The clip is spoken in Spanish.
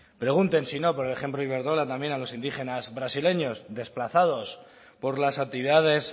pregunten si no por el ejemplo de iberdrola también a los indígenas brasileños desplazados por las actividades